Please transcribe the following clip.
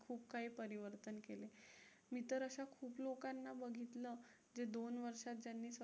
खूप काही परिवर्तन केले. मी तर अशा खूप लोकांना बघितलं जे दोन वर्षात त्यांनी